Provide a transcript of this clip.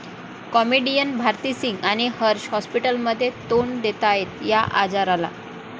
comedian Bharti Singh आणि हर्ष हाॅस्पिटलमध्ये, तोंड देतायत 'या' आजाराला